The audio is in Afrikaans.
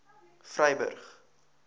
vryburg